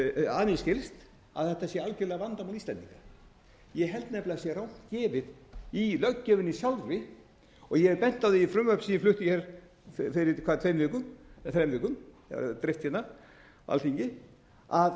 að mér skilst að þetta sé algerlega vandamál íslendinga ég held nefnilega að það sé rangt gefið í löggjöfinni sjálfri og ég hef bent á það í frumvarpi sem ég flutti fyrir tveim eða þrem vikum og dreift á alþingi að það